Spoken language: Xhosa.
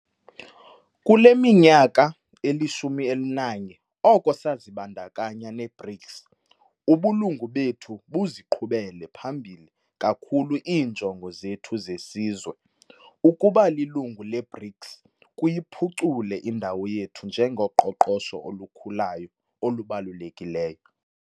Kule minyaka eli-11 oko sazibandakanya ne-BRICS, ubulungu bethu buziqhubele phambili kakhulu iinjongo zethu zesizwe. Ukuba lilungu le-BRICS kuyiphucule indawo yethu njengoqoqosho olukhulayo olubalulekileyo.